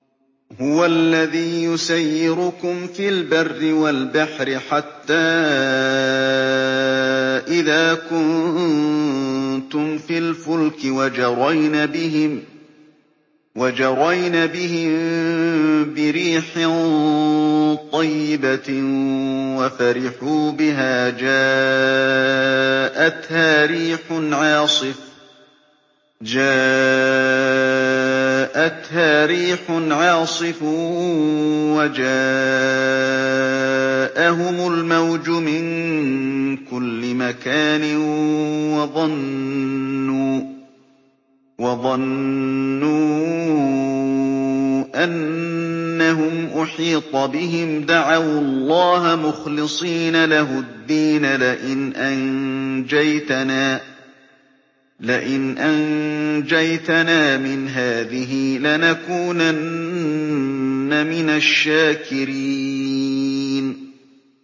هُوَ الَّذِي يُسَيِّرُكُمْ فِي الْبَرِّ وَالْبَحْرِ ۖ حَتَّىٰ إِذَا كُنتُمْ فِي الْفُلْكِ وَجَرَيْنَ بِهِم بِرِيحٍ طَيِّبَةٍ وَفَرِحُوا بِهَا جَاءَتْهَا رِيحٌ عَاصِفٌ وَجَاءَهُمُ الْمَوْجُ مِن كُلِّ مَكَانٍ وَظَنُّوا أَنَّهُمْ أُحِيطَ بِهِمْ ۙ دَعَوُا اللَّهَ مُخْلِصِينَ لَهُ الدِّينَ لَئِنْ أَنجَيْتَنَا مِنْ هَٰذِهِ لَنَكُونَنَّ مِنَ الشَّاكِرِينَ